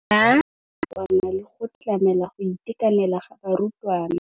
Ya nakwana le go tlamela go itekanela ga barutwana.